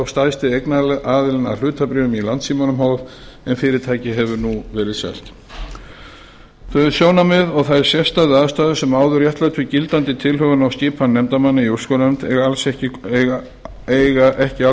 stærsti eignaraðilinn að hlutabréfum í landssímanum h f en fyrirtækið hefur nú verið selt þau sjónarmið og þær sérstöku aðstæður sem áður réttlættu gildandi tilhögun á skipan nefndarmanna í úrskurðarnefnd eiga ekki